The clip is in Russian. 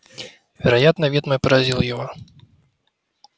вероятно вид мой поразил его